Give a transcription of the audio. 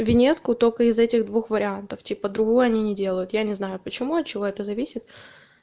виньетку только из этих двух вариантов типа другую они не делают я не знаю почему от чего это зависит